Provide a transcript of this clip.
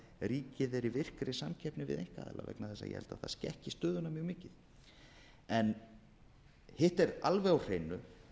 ríkið er í virkri samkeppni við einkaaðila ég held að það skekki stöðuna mjög mikið hitt er alveg á hreinu